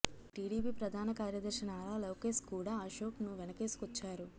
TDP ప్రధాన కార్యదర్శి నారా లోకేష్ కూడా అశోక్ ను వెనకేసుకొచ్చారు